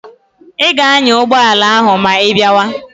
Ị ga-anya ụgbọala ahụ ma ị bịawa!